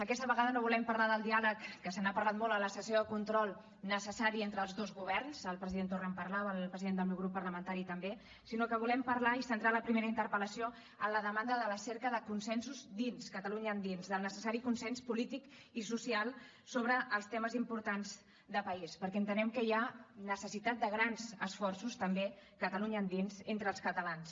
aquesta vegada no volem parlar del diàleg que se n’ha parlat molt a la sessió de control necessari entre els dos governs el president torra en parlava el president del meu grup parlamentari també sinó que volem parlar i centrar la primera interpel·lació en la demanda de la cerca de consensos dins catalunya endins del necessari consens polític i social sobre els temes importants de país perquè entenem que hi ha necessitat de grans esforços també catalunya endins entre els catalans